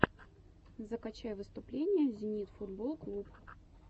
закачай выступления зенит футболл клуб